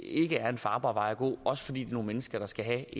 ikke er en farbar vej at gå også fordi det er nogle mennesker der skal have